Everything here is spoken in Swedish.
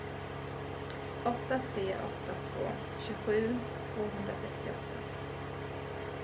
åtta tre åtta två tjugosju tvåhundrasextioåtta